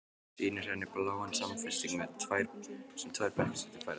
Sýnir henni bláan samfesting sem tvær bekkjarsystur færðu henni.